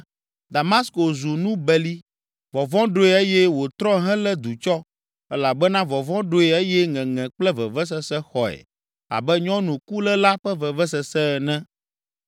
Damasko zu nu beli, vɔvɔ̃ ɖoe eye wòtrɔ helé du tsɔ, elabena vɔvɔ̃ ɖoe eye ŋeŋe kple vevesese xɔe abe nyɔnu kuléla ƒe vevesese ene.